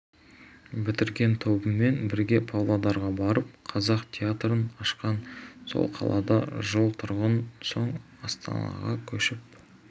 бітірген тобымен бірге павлодарға барып қазақ театрын ашқан сол қалада жыл тұрған соң астанаға көшіп